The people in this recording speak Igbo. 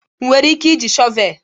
Ị nwere ike iji shọvel?